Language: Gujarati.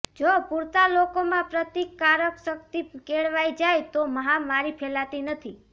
જો પૂરતા લોકોમાં પ્રતિકારશક્તિ કેળવાઈ જાય તો મહામારી ફેલાતી નથી